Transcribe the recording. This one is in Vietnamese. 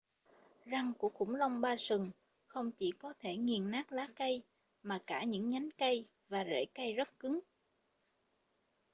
răng của khủng long ba sừng không chỉ có thể nghiền nát lá cây mà cả những nhánh cây và rễ cây rất cứng